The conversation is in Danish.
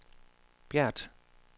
Bjert